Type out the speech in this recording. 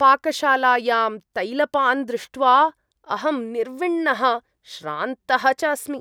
पाकशालायां तैलपान् दृष्ट्वा अहं निर्विण्णः श्रान्तः च अस्मि।